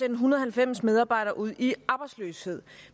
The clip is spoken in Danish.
en hundrede og halvfems medarbejdere ud i arbejdsløshed